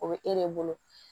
O bɛ e de bolo